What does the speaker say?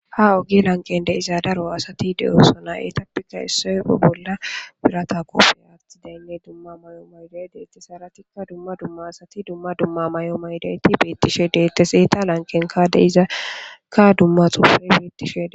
Ta ogi lanqende izadaro asati de'o sona etappika issoyo bolla birata koope aatti deynne dumma may'o mayday deette saratikka dumma dumma asati dumma dumma may'o maydayti beettishe deette seeta lanqen kaade izakka dumma xupfe bettishe.